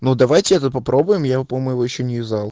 ну давайте это попробуем я по-моему ещё не взял